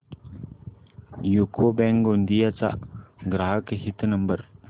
UCO bank Gondia चा ग्राहक हित नंबर